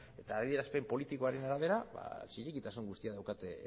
eta adierazpen politikoaren arabera zilegitasun guztia daukate